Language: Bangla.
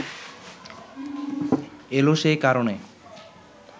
এলো সে কারণে